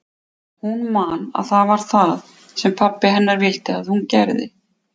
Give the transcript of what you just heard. Hún man að það var það sem pabbi hennar vildi að hún gerði.